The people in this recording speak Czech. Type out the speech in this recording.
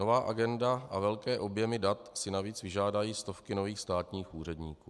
Nová agenda a velké objemy dat si navíc vyžádají stovky nových státních úředníků.